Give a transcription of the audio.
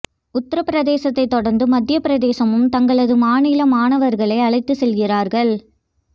உத்திர பிரதேசத்தை தொடர்ந்து மத்திய பிரதேசமும் தங்களது மாநில மாணவர்களை அழைத்து செல்கிறார்கள்